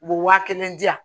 U bɛ waa kelen di yan